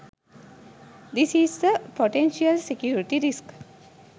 this is a potential security risk